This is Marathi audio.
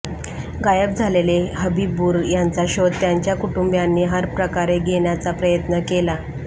गायब झालेले हबीबूर यांचा शोध त्यांच्या कुटुंबीयांनी हरप्रकारे घेण्याचा प्रयत्न केला